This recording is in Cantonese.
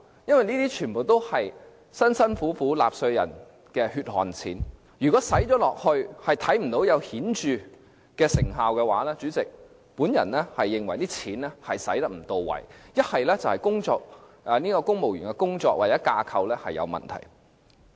這些全都是納稅人辛苦賺來的血汗錢，如果花了錢卻仍然看不到顯著成效的話，我認為一是這些錢花得不到位，一是公務員的工作或架構有問題。